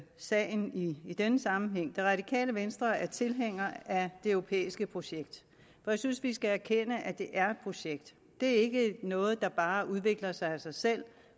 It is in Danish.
sagen i denne sammenhæng det radikale venstre er tilhængere af det europæiske projekt jeg synes vi skal erkende at det er projekt det er ikke noget der bare udvikler sig af sig selv